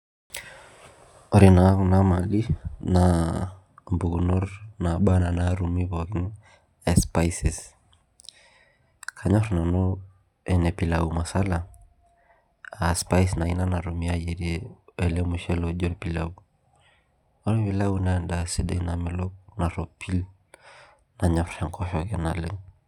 Ore na kuna mali na mpukunot naba ana natumi pooki e spices kanyor nanu ene pilau masala aa spice ina nayierieki ele mushele oji orpilau ore orpilau na endaa sidai namelok naropil nanyor enkosheke naleng.